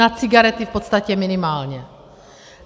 Na cigarety v podstatě minimálně.